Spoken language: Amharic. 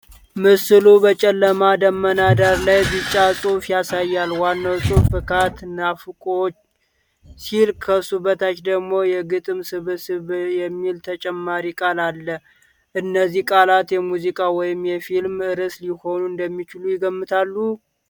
ምስሉ በጨለማ ደመና ዳራ ላይ ቢጫ ጽሑፍ ያሳያል። ዋናው ጽሑፍ "ፍካት ናፋቅዎች" ሲል፣ ከሱ በታች ደግሞ "የግጥም ስብስብ" የሚል ተጨማሪ ቃል አለ። እነዚህ ቃላት የሙዚቃ ወይም የፊልም ርዕስ ሊሆኑ እንደሚችሉ ይገምታሉ?